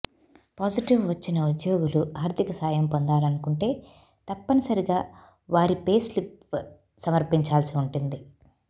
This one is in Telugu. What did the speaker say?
పాజిటివ్ వచ్చిన ఉద్యోగులు ఆర్ధిక సాయం పొందాలనుకుంటే తప్పని సరిగా వారి పే స్లిప్ సమర్పించాల్సి ఉంటుంది